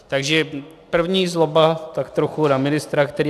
Takže první zloba tak trochu na ministra, který...